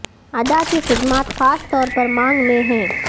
ادا کی خدمات خاص طور پر مانگ میں ہیں